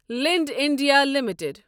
Linde India limited